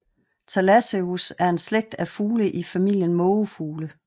Thalasseus er en slægt af fugle i familien mågefugle